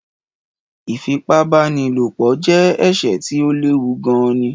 Ìfipá-bá-ni-lò-po je èsè tí o léwu gan ni